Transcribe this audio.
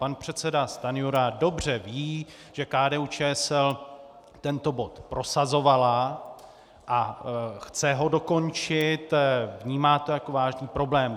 Pan předseda Stanjura dobře ví, že KDU-ČSL tento bod prosazovala a chce ho dokončit, vnímá to jako vážný problém.